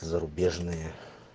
зарубежные